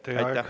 Teie aeg!